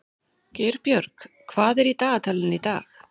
Geirbjörg, hvað er í dagatalinu í dag?